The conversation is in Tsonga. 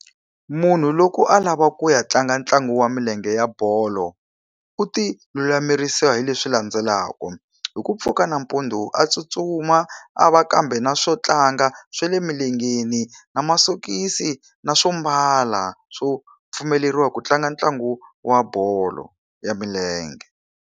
Munhu loko a lava ku ya tlanga ntlangu wa milenge ya bolo, u ti lulamisela hi leswi landzelaku, hi ku pfuka nampundzu a tsutsuma, a va kambe na swo tlanga swa le milengeni, na masokisi, na swo mbala swo pfumeleriwa ku tlanga ntlangu wa bolo ya milenge